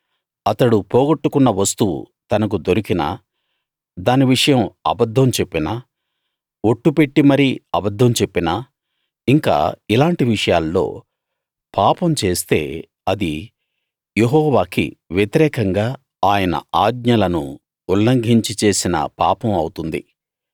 అతడు పోగొట్టుకున్న వస్తువు తనకు దొరికినా దాని విషయం అబద్ధం చెప్పినా ఒట్టు పెట్టి మరీ అబద్ధం చెప్పినా ఇంకా ఇలాంటి విషయాల్లో పాపం చేస్తే అది యెహోవాకి వ్యతిరేకంగా ఆయన ఆజ్ఞలను ఉల్లంఘించి చేసిన పాపం అవుతుంది